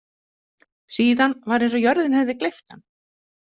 Síðan var eins og jörðin hefði gleypt hann.